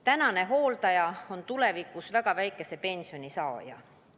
Tänane hooldaja on tulevikus väga väikese pensioni saaja.